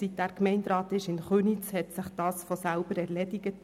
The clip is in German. Seitdem er Gemeinderat in Köniz ist, hat sich dies von selber erledigt.